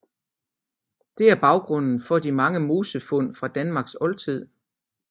Det er baggrunden for de mange mosefund fra Danmarks oldtid